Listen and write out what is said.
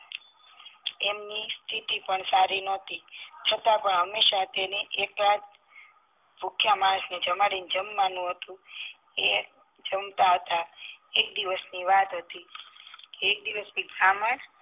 એમની સ્થિતિ પણ સારી નથી છતાં પણ હંમેશા તેને એકાદ ભુખ્યા માણસ ને જમાડી ને જમવા નું એ જમાત હતા એક દિવસ ની વાત હતી એક દિવસ બ્રાહ્મણ